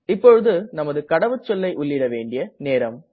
இப்போது நமது கடவுச்சொல்லை உள்ளிட வேண்டிய நேரம்